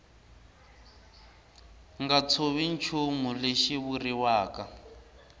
nga tshovi nchumu lexi vuriwaka